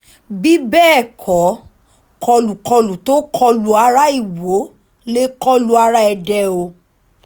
bí bẹ́ẹ̀ kọ́ kọlùkọlù tó kọ lu ara ìwọ lè kọ lu ara èdè o